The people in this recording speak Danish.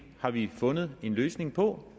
har vi fundet en løsning på